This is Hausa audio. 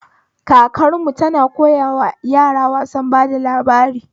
Kakarmu tana koyawa yara wasan bada labari